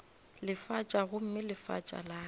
lefatša gomme lefatša la ka